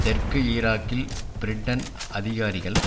தெற்கு ஈராக்கில் பிரிட்டன் அதிகாரிகள்